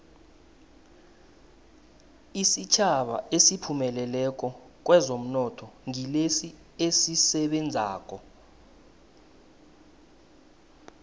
isitjhaba esiphumelelako kwezomnotho ngilesi esisebenzako